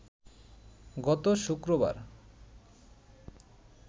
গত শুক্রবার